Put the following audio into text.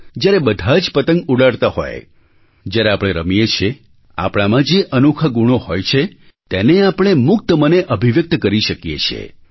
જ્યારે બધા જ પતંગ ઉડાડતા હોય જ્યારે આપણે રમીએ છીએ આપણામાં જે અનોખા ગુણો હોય છે તેને આપણે મુક્તમને અભિવ્યક્ત કરી શકીએ છીએ